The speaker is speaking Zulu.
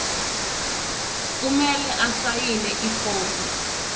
kumele asayine ifomu